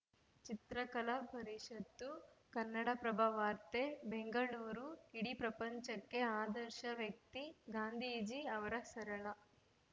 ಚಿತ್ರಕಲಾ ಪರಿಷತ್ತು ಕನ್ನಡಪ್ರಭ ವಾರ್ತೆ ಬೆಂಗಳೂರು ಇಡೀ ಪ್ರಪಂಚಕ್ಕೆ ಆದರ್ಶ ವ್ಯಕ್ತಿ ಗಾಂಧೀಜಿ ಅವರ ಸರಳ